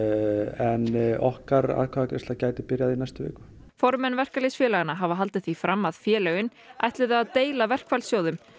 en okkar atkvæðagreiðsla gæti byrjað í næstu viku formenn verkalýðsfélaganna hafa haldið því fram að félögin ætluðu að deila verkfallssjóðum